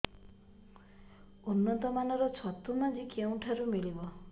ଉନ୍ନତ ମାନର ଛତୁ ମଞ୍ଜି କେଉଁ ଠାରୁ ମିଳିବ